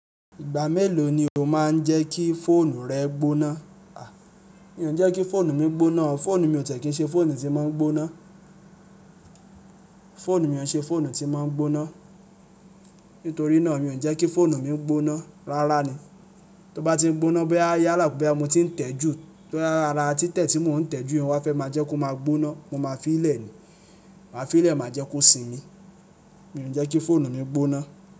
Ìgbà mélòó ni o máa ń jẹ́ kí fóònù rẹ gbóná? Mi ò ń jẹ́ kí fóònù mi gbóná o. Fóònù mi ò tiẹ ki ń ṣe fóònù tí ń máa ń gbóná. Fóònù mi ò ń ṣe fóònù tí ń máa ń gbóná. Nítorí náà mi ò ń jẹ́ kí fóònù mi gbóná. Rárá ni. Tí ó bá ti ń gbóná boya yála pé boya mo ti ń tẹ́e ju, tii árá títẹ tí mò ń tẹ́e ju yen wa fẹ́ máa jẹ́ kó máa gbóná, mo máa fi í lẹ̀ ni. Máa fi í lẹ̀ máa jẹ́ kó sinmi. Mi ò ń jẹ́ kí fóònù mi gbóná.